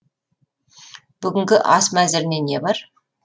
бүгінгі ас мәзіріне не бар